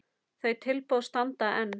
Þau tilboð standa enn.